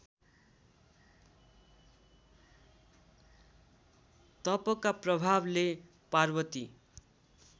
तपका प्रभावले पार्वती